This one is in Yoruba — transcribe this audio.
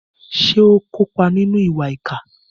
Ṣé ó kópa nínú ìwà ìkà?